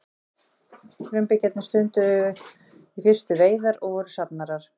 frumbyggjarnir stunduðu í fyrstu veiðar og voru safnarar